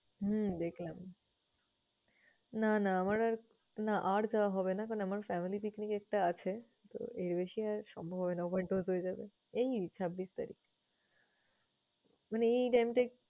হম দেখলাম। না না আমার আর না আর যাওয়া হবে না কারণ আমার family picnic একটা আছে। তো, এর বেশি আর সম্ভব হবে না হয়তো overdose হয়ে যাবে। এই ছাব্বিশ তারিখ মানে এই time টা